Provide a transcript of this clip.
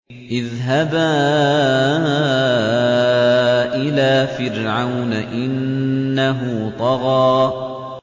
اذْهَبَا إِلَىٰ فِرْعَوْنَ إِنَّهُ طَغَىٰ